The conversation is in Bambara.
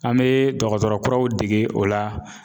An mɛ dɔgɔtɔrɔ kuraw dege o la.